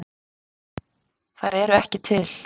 Þær eru ekki til